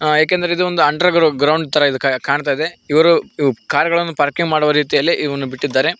ಏಕೆಂದ್ರೆ ಇದು ಒಂದು ಅಂಡರ್ ಗ್ರೌಂಡ್ ತರ ಇದ್ ಕಾಣ್ತಾ ಇದೆ ಇವರು ಇವ್ ಕಾರ್ ಗಳನ್ನು ಪಾರ್ಕಿಂಗ್ ಮಾಡುವ ರೀತಿಯಲ್ಲಿ ಬಿಟ್ಟಿದ್ದಾರೆ.